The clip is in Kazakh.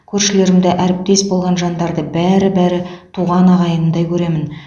көршілерімді әріптес болған жандарды бәрі бәрі туған ағайынымдай көремін